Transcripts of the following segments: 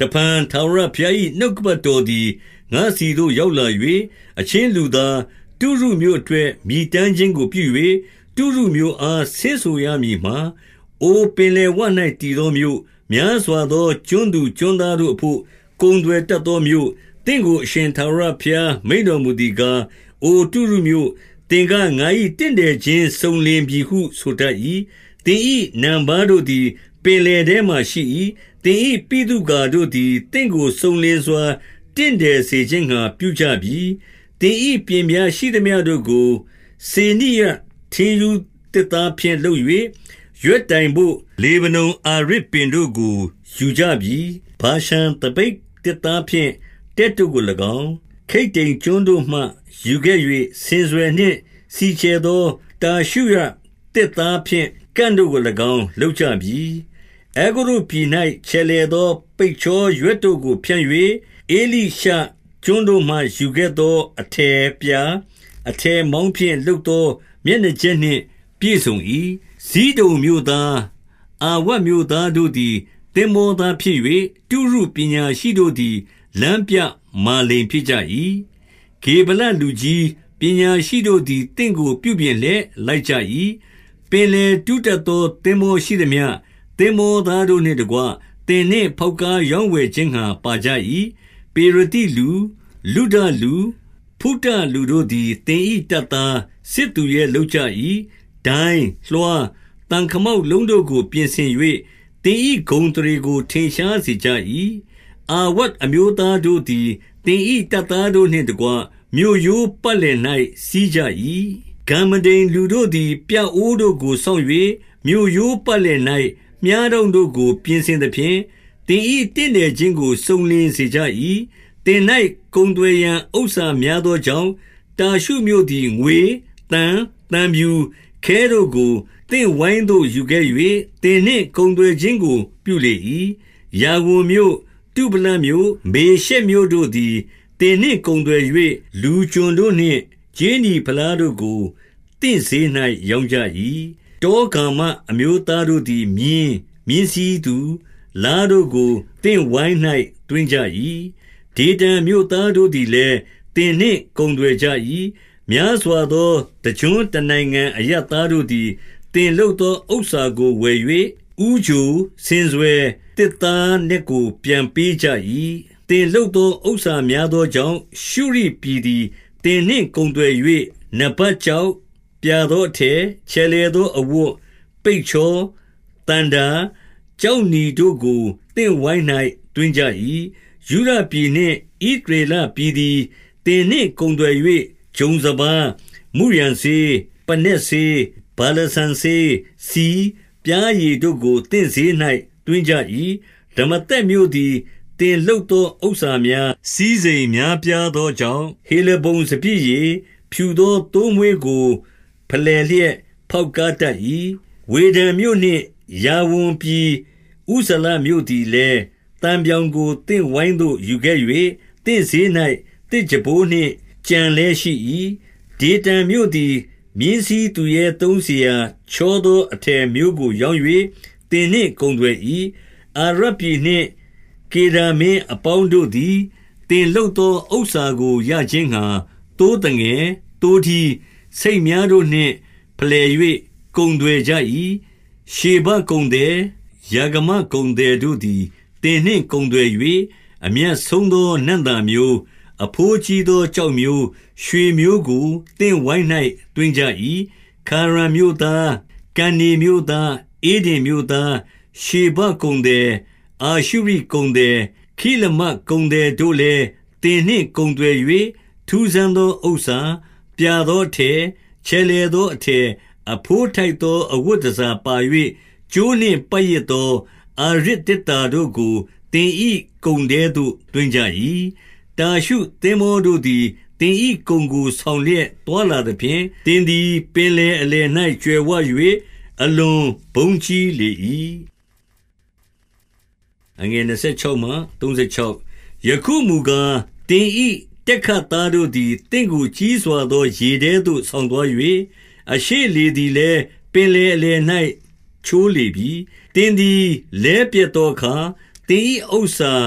တဖန် ထာဝရဘုရား၏ နှုတ်ကပတ်တော် သည် ငါ့ဆီသို့ ရောက်လာ၍၊ 2 အချင်းလူသား၊ တုရုမြို့အတွက် မြည်တမ်းခြင်း ကိုပြု၍၊ တုရုမြို့အား ဆင့်ဆိုရမည်မှာ၊ 3 အိုပင်လယ်ဝ၌ တည်သောမြို့၊ များစွာသော ကျွန်းသူကျွန်းသားတို့အဘို့ ကုန်သွယ်တတ်သောမြို့၊ သင့် ကို အရှင်ထာဝရဘုရားမိန့်တော်မူသည်ကား၊ အိုတုရုမြို့၊ သင်က၊ ငါ၏တင့်တယ်ခြင်းစုံလင်ပြီဟု ဆိုတတ်၏။ 4 သင်၏နံပါးတို့သည် ပင်လယ်ထဲမှာ ရှိ၏။ သင်၏ဗိသုကာတို့သည် သင့်ကိုစုံလင်စွာ တင့်တယ်စေ ခြင်းငှါ ပြုကြပြီ။ 5 သင်၏ပျဉ်ပြားရှိသမျှတို့ကို စေနိရထင်းရူး သစ်သားဖြင့် လုပ်၍၊ ရွက်တိုင်ဘို့ လေဗနန်အာရဇ်ပင် တို့ကို ယူကြပြီ။ 6 ဗာရှန်သပိတ်သစ်သားဖြင့် တက်တို့ကို၎င်း၊ ခိတ္တိမ်ကျွန်းတို့မှ ယူခဲ့၍ ဆင်စွယ်နှင့် စီချယ်သော တာရှုရသစ်သားဖြင့် ကန့်တို့ကို၎င်း လုပ်ကြပြီ။ 7 အဲဂုတ္တုပြည်၌ ချယ်လှယ်သော ပိတ်ချောရွက် တို့ကို ဖြန့်၍၊ ဧလိရှကျွန်းတို့မှယူခဲ့သော အထည်ပြာ၊ အထည်မောင်းဖြင့် လုပ်သောမျက်နှာကြက်နှင့် ပြည့်စုံ၏။ 8 ဇိဒုန်မြို့သား၊ အာဝဒ်မြို့သားတို့သည် သင်္ဘော သားဖြစ်၍၊ တုရုပညာရှိတို့သည်လမ်းပြမာလိန်ဖြစ်ကြ၏။ 9 ဂေဗလလူကြီး၊ ပညာရှိတို့သည် သင့်ကို ပြုပြင် လျက်လိုက်ကြ၏။ ပင်လယ်ကူးတတ်သော သင်္ဘောရှိသမျှ၊ သင်္ဘောသားတို့နှင့်တကွ သင်နှင့် ဖောက်ကားရောင်းဝယ် ခြင်းငှါ ပါကြ၏။ 10 ပေရသိလူ၊ လုဒလူ၊ ဖုတလူတို့သည် သင်၏ တပ်သား၊ စစ်သူရဲ လုပ်ကြ၏။ ဒိုင်း၊ လွှား၊ သံခမောက်လုံး တို့ကို ပြင်ဆင်၍၊ သင်၏ဂုဏ်အသရေကို ထင်ရှား စေကြ၏။ 11 အာဝဒ်အမျိုးသားတို့သည် သင်၏တပ်သားတို့ နှင့်တကွ မြို့ရိုးပတ်လည်၌ စီးကြ၏။ ဂမ္မဒိမ်လူတို့သည် ပြအိုးတို့ကိုစောင့်၍၊ မြို့ရိုးပတ်လည်၌ မြှားတောင့်တို့ကို ပြင်ဆင်သဖြင့်၊ သင်၏တင့်တယ်ခြင်းကို စုံလင်စေ ကြ၏။ 12 သင်၌ကုန်သွယ်ရန် ဥစ္စာများသောကြောင့်၊ တာရှုမြို့သည်ငွေ၊ သံ၊ သံဖြူ၊ ခဲတို့ကို သင့်ဝိုင်းသို့ယူခဲ့၍ သင်နှင့်ကုန်သွယ်ခြင်းကို ပြုလေ၏။ 13 ယာဝန်မြို့၊ တုဗလမြို့။ မေရှက်မြို့တို့သည် သင်နှင့်ကုန်သွယ်၍၊ လူကျွန်တို့နှင့် ကြေးနီဖလားတို့ကို သင့်ဈေး၌ ရောင်းကြ၏။ 14 တောဂါမအမျိုးသားတို့သည်မြင်း၊ မြင်းစီးသူ၊ လားတို့ကို သင့်ဝိုင်း၌ သွင်းကြ၏။ 15 ဒေဒန်မြို့သားတို့သည်လည်း သင်နှင့်ကုန်သွယ် ကြ၏။ များစွာသော တကျွန်းတနိုင်ငံ အရပ်သားတို့သည် သင်လုပ်သော ဥစ္စာကိုဝယ်၍၊ ဦးချို၊ ဆင်စွယ်၊ သစ်သား နက်ကို ပြန်ပေးကြ၏။ 16 သင်လုပ်သော ဥစ္စာများသောကြောင့် ရှုရိပြည်သည် သင်နှင့်ကုန်သွယ်၍၊ နပက်ကျောက်၊ ဗြာသောအထည်၊ ချယ်လှယ်သောအဝတ်၊ ပိတ်ချော၊ သန္တာ၊ ကျောက်နီတို့ကို သင့်ဝိုင်း၌ သွင်းကြ၏။ 17 ယုဒပြည်နှင့်ဣသရေလပြည်သည် သင်နှင့်ကုန် သွယ်၍၊ ဂျုံစပါး၊ မုရန်စေး၊ ပနက်စေး၊ ဗာလစံစေး၊ ဆီ၊ ပျားရည်တို့ကို သင့်ဈေး၌ သွင်းကြ၏။ 18 ဒမာသက်မြို့သည် သင်လုပ်သော ဥစ္စာများ၊ စည်းစိမ်များပြားသောကြောင့်၊ ဟေလဗုန်စပျစ်ရည်၊ ဖြူသောသိုးမွေးကို ဖယ်လှယ်လျက် ဖေါက်ကားတတ်၏။ 19 ဝေဒန်မြို့နှင့်ယာဝန်ပြည် ဥဇာလမြို့သည် လည်း သံပြောင်ကို သင့်ဝိုင်းသို့ယူခဲ့၍၊ သင့်ဈေး၌ သစ်ကြံပိုးနှင့် ကြံလည်းရှိ၏။ 20 ဒေဒန်မြို့သည် မြင်းစီးသူရဲ သုံးစရာချောသော အထည်မျိုးကို ရောင်း၍သင်နှင့်ကုန်သွယ်၏။ 21 အာရပ်ပြည်နှင့် ကေဒါမင်း အပေါင်းတို့သည် သင်လုပ်သော ဥစ္စာကိုရခြင်းငှါ သိုးသငယ်၊ သိုးထီး၊ ဆိတ်များတို့နှင့် ဖယ်လှယ်၍ ကုန်သွယ်ကြ၏။ 22 ရှေဘကုန်သည်၊ ရာဂမကုန်သည်တို့သည် သင်နှင့် ကုန်သွယ်၍ အမြတ်ဆုံးသော နံ့သာမျိုး၊ အဘိုးကြီးသော ကျောက်မျိုး၊ ရွှေမျိုးကိုသင့်ဝိုင်း၌ သွင်းကြ၏။ 23 ခါရန်မြို့သား၊ ကန္နေမြို့သား၊ ဧဒင်မြို့သား၊ ရှေဘကုန်သည်၊ အာရှုရိကုန်သည်။ ခိလမဒ်ကုန်သည်တို့ လည်း၊ သင်နှင့်ကုန်သွယ်၍၊ 24 ထူးဆန်းသော ဥစ္စာ၊ ပြာသောအထည်၊ ချယ် လှယ်သောအထည်၊ အဘိုးထိုက်သော အဝတ်တန်ဆာ ပါ၍၊ ကြိုးနှင့်ပတ်ရစ်သော အာရဇ်သေတ္တာတို့ကို သင်၏ ကုန်ထဲသို့သွင်းကြ၏။ 25 တာရှုသင်္ဘေားတို့သည် သင်၏ကုန်ကို ဆောင် လျက်သွားလာသဖြင့်၊ သင်သည် ပင်လယ်အလယ်၌ ကြွယ်ဝ၍ အလွန်ဘုန်းကြီးလေ၏။ 26 ယခုမူကား၊ သင်၏တက်ခတ်သားတို့သည် သင့်ကိုကြီးစွာသော ရေထဲသို့ဆောင်သွား၍၊ အရှေ့လေ သည်လည်း ပင်လယ်အလယ်၌ ချိုးလေ ပြီ။ 27 သင်သည် လဲပျက်သောအခါ သင်၏ဥစ္စာ၊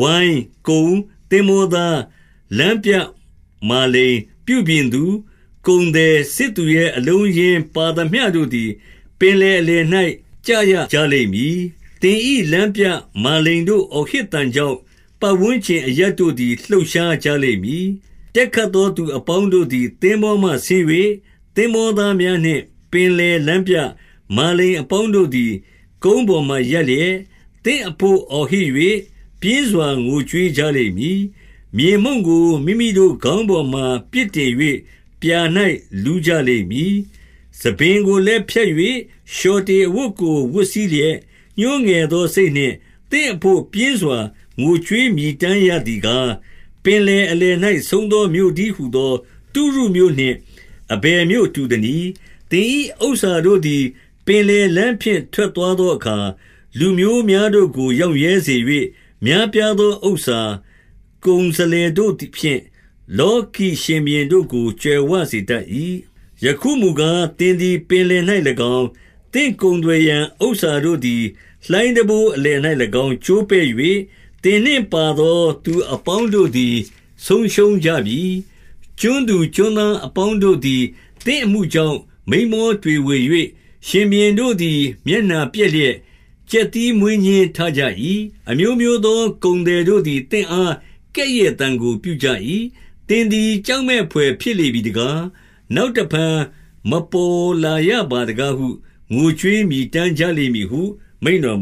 ဝိုင်း၊ ကုန်၊ သင်္ဘော သား၊ လမ်းပြမာလိန်၊ ပြုပြင်သူ၊ ကုန်သည်၊ စစ်သူရဲအလုံးအရင်းပါသမျှတို့သည် ပင်လယ်အလယ်၌ ကျရကြလိမ့်မည်။ 28 သင်၏လမ်းပြမာလိန်တို့ အော်ဟစ်သံကြောင့်၊ ပတ်ဝန်းကျင်အရပ်တို့သည် လှုပ်ရှားကြလိမ့်မည်။ 29 တက်ခတ်သော သူအပေါင်းတို့သည် သင်္ဘောမှ ဆင်း၍၊ သင်္ဘောသားများနှင့် ပင်လယ်လမ်းပြမာလိန် အပေါင်းတို့သည် ကုန်းပေါ်မှာရပ်လျက်၊ 30 သင့်အဘို့အော်ဟစ်၍ ပြင်းစွာငိုကြွေးကြလိမ့် မည်။ မြေမှုန်ကို မိမိတို့ခေါင်းပေါ်မှာ ပစ်တင်၍ပြာ၌ လူးကြလိမ့်မည်။ 31 ဆံပင်ကိုလည်း ဖြတ်၍လျှော်တေအဝတ်ကို ဝတ်စည်းလျက်၊ ညှိုးငယ်သောစိတ်နှင့် သင့်အဘို့ပြင်းစွာ ငိုကြွေးမြည်တမ်းရသည်ကား၊ 32 ပင်လယ်အလယ်၌ ဆုံးသောမြို့တည်းဟူသော တုရုမြို့နှင့် အဘယ်မြို့တူသနည်း။ 33 သင်၏ဥစ္စာတို့သည် ပင်လယ်လမ်းဖြင့် ထွက် သွားသောအခါ၊ လူမျိုးများတို့ကို ရောင့်ရဲစေ၍၊ များပြား သောဥစ္စာ။ ကုန်စလယ်တို့ဖြင့် လောကီရှင်ဘုရင်တို့ကို ကြွယ်ဝစေတတ်၏။ 34 ယခုမူကား၊ သင်သည် ပင်လယ်၌၎င်း၊ သင့် ကုန်သွယ်ရန် ဥစ္စာတို့သည် လှိုင်းတံပိုးအလယ်၌၎င်း၊ ကျိုးပဲ့၍၊ သင်နှင့်ပါသောသူအပေါင်းတို့သည် ဆုံးရှုံကြပြီ။ 35 ကျွန်းသူ ကျွန်းသားအပေါင်းတို့သည် သင်အမှု ကြောင့် မိန်းမောတွေဝေ၍၊ ရှင်ဘုရင်တို့သည် မျက်နှာ ပျက်လျက် ကြက်သီးမွေးညှင်းထကြ၏။ 36 အမျိုးမျိုးသောကုန်သည်တို့သည် သင့်အား ကဲ့ရဲ့သံကို ပြုကြ၏။ သင်သည် ကြောက်မက်ဘွယ်ဖြစ် လေပြီတကား။ နောက်တဖန်မပေါ်လာ ရပါတကားဟု ငိုကြွေးမြည်တမ်းကြလိမ့်မည်ဟု မိန့်တော်မ